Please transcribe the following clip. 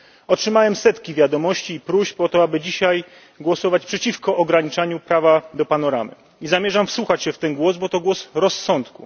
Otrzymałem setki wiadomości, próśb o to, aby dzisiaj głosować przeciwko ograniczaniu prawa do panoramy, i zamierzam wsłuchać się w ten głos, bo to głos rozsądku.